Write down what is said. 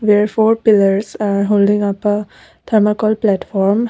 there are four pillars are holding upper thermocol platform.